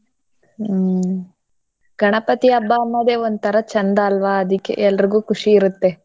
ಹ್ಮ್ ಗಣಪತಿ ಹಬ್ಬ ಅನ್ನೋದೇ ಒಂತರ ಚಂದ ಅಲ್ವ ಅದುಕ್ಕೆ ಎಲ್ರಗೂ ಖುಷಿ ಇರುತ್ತೇ.